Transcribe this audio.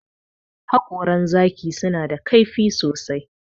Haƙoran zaki suna da kaifi sosai.